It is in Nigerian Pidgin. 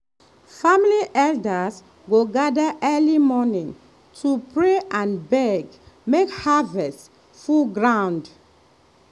family elders go gather early morning to pray and beg make harvest full ground.